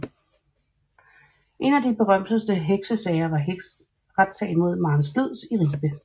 En af de berømteste heksesager var retssagen mod Maren Splids i Ribe